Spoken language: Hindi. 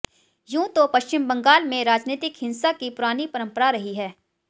यूं तो पश्चिम बंगाल में राजनीतिक हिंसा की पुरानी परंपरा रही है